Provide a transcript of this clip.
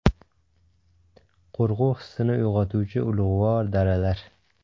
Qo‘rquv hissini uyg‘otuvchi ulug‘vor daralar .